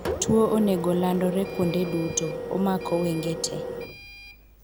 Tuo onogo landore kuonde duto (omako wenge tee.)